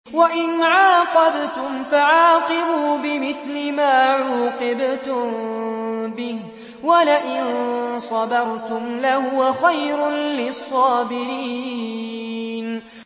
وَإِنْ عَاقَبْتُمْ فَعَاقِبُوا بِمِثْلِ مَا عُوقِبْتُم بِهِ ۖ وَلَئِن صَبَرْتُمْ لَهُوَ خَيْرٌ لِّلصَّابِرِينَ